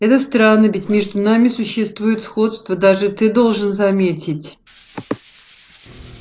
это странно ведь между нами существует сходство даже ты должен заметить